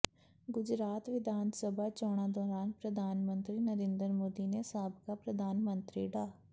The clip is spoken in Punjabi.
ਗੁਜਰਾਤ ਵਿਧਾਨ ਸਭਾ ਚੋਣਾਂ ਦੌਰਾਨ ਪ੍ਰਧਾਨ ਮੰਤਰੀ ਨਰਿੰਦਰ ਮੋਦੀ ਨੇ ਸਾਬਕਾ ਪ੍ਰਧਾਨ ਮੰਤਰੀ ਡਾ